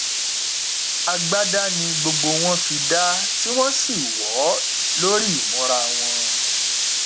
agbada ni gbogbo wọn fi dá tí wọn sì wọ ọ lórí ìmúra wọn